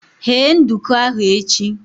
Ghee nduku ahu echi!